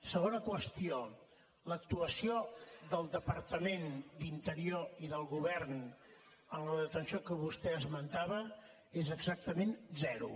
segona qüestió l’actuació del departament d’interior i del govern en la detenció que vostè esmentava és exactament zero